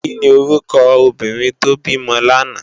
Kini órúkò óbìrín tó bimò làná?